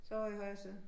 Så ovre i højre side